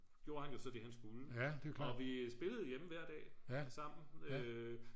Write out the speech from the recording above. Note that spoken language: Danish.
gjorde han jo så det han skulle og vi spillede hjemme hver dag sammen